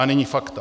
A nyní fakta.